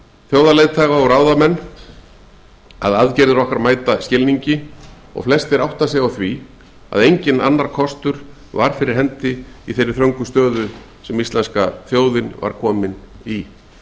þjóðarleiðtoga og ráðamenn á undanförnum dögum og vikum að aðgerðir okkar mæta skilningi og flestir átta sig á að enginn annar kostur verið fyrir hendi í jafnþröngri stöðu og íslenska þjóðin var komin í virðulegi forseti